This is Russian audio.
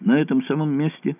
на этом самом месте